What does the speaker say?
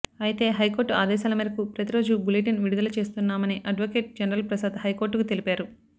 అయితే హైకోర్టు ఆదేశాల మేరకు ప్రతిరోజూ బులెటిన్ విడుదల చేస్తున్నామని అడ్వొకేట్ జనరల్ ప్రసాద్ హైకోర్టుకు తెలిపారు